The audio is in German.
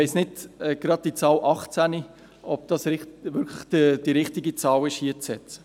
Ich weiss nicht, ob es richtig ist, hier gerade die Zahl 18 zu setzen.